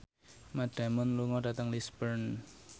Matt Damon lunga dhateng Lisburn